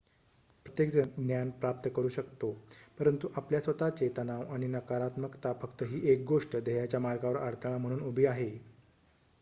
प्रत्येकजण ज्ञान प्राप्त करू शकतो परंतु आपल्या स्वतःचे तणाव आणि नकारात्मकता फक्त ही एक गोष्ट ध्येयाच्या मार्गावर अडथळा म्हणून उभी आहे